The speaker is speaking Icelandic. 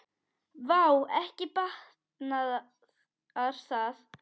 Vá, ekki batnar það!